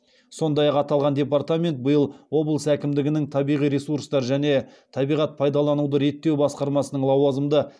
сондай ақ аталған департамент биыл облыс әкімдігінің табиғи ресурстар және табиғат пайдалануды реттеу басқармасының лауазымды